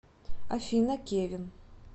афина кевин